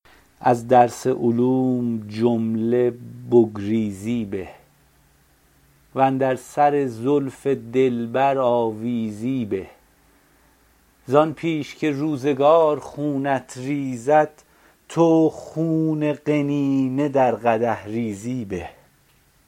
از درس علوم جمله بگریزی به و اندر سر زلف دلبر آویزی به زآن پیش که روزگار خونت ریزد تو خون قنینه در قدح ریزی به